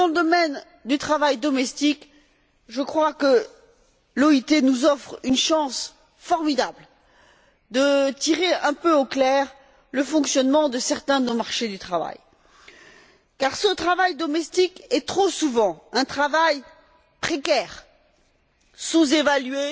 Dans le domaine du travail domestique, je crois que l'OIT nous offre une chance formidable de tirer un peu au clair le fonctionnement de certains de nos marchés du travail, car ce travail domestique est trop souvent un travail précaire, sous évalué